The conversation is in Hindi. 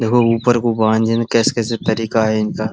देखो ऊपर को भगवान जाने कैस-कैसा तरीका है इनका।